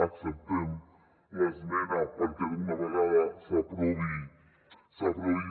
acceptem l’esmena perquè d’una vegada per totes s’aprovi